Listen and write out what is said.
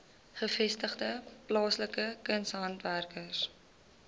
gevestigde plaaslike kunshandwerkers